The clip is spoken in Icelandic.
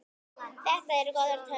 Þetta eru góðar tölur.